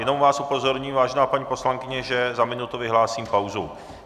Jenom vás upozorním, vážená paní poslankyně, že za minutu vyhlásím pauzu.